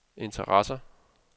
interesser